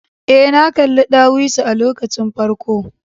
Ee, na kalli ɗawisu a lokacin farko.